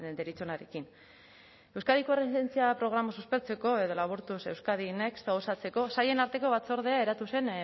deritzonarekin euskadiko erresilientzia programa suspertzeko edo laburtuz euskadi next osatzeko sailen arteko batzordea eratu zen